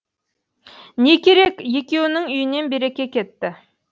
не керек екеуінің үйінен береке кетті